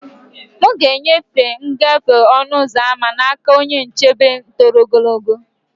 M ga-enyefe ngafe ọnụ ụzọ ámá n'aka onye nchebe toro ogologo.